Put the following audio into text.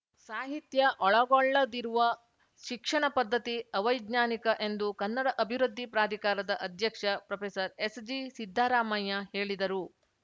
ಸಾಹಿತ್ಯ ಒಳಗೊಳ್ಳದಿರುವ ಶಿಕ್ಷಣ ಪದ್ಧತಿ ಅವೈಜ್ಞಾನಿಕ ಎಂದು ಕನ್ನಡ ಅಭಿವೃದ್ಧಿ ಪ್ರಾಧಿಕಾರದ ಅಧ್ಯಕ್ಷ ಪ್ರೊಫೆಸರ್ಎಸ್‌ಜಿಸಿದ್ದರಾಮಯ್ಯ ಹೇಳಿದರು